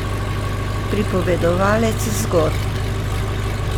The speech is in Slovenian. Pripovedovalec zgodb.